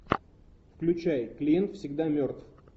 включай клиент всегда мертв